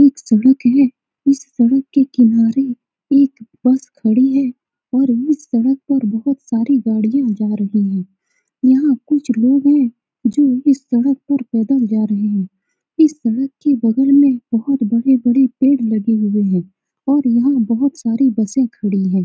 एक सड़क है इस सड़क के किनारे एक बस खड़ी है और ये सड़क पर बहुत सारी गाड़ियाँ जा रही है यहाँ कुछ लोग है जो इस सड़क पर पैदल जा रहे हैं इस सड़क के बगल में बहुत बड़े-बड़े पेड़ लगे हुए हैं और यहाँ बहुत सारी बसे खड़ी हैं।